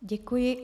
Děkuji.